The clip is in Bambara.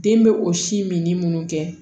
Den bɛ o si minni minnu kɛ